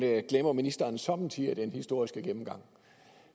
det glemmer ministeren somme tider i den historiske gennemgang